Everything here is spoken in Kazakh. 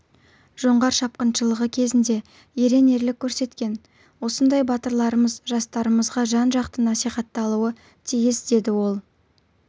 жоңғар шапқыншылығы кезінде ерен ерлік көрсеткен осындай батырларымыз жастарымызға жан-жақты насихатталуы тиіс деді ол